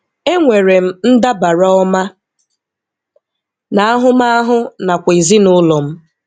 E nwere m ndabara ọma na ahụmahụ nakwa ezinụlọ m.